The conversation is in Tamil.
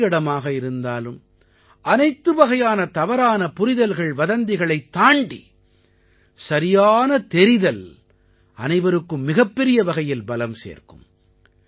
எந்த இடமாக இருந்தாலும் அனைத்து வகையான தவறான புரிதல்கள்வதந்திகளைத் தாண்டி சரியான தெரிதல் அனைவருக்கும் மிகப்பெரிய வகையில் பலம் சேர்க்கும்